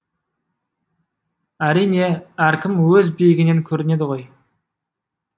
әрине әркім өз биігінен көрінеді ғой